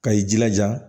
Ka i jilaja